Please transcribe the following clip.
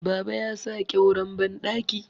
Baba ya sa ƙyauren bandaki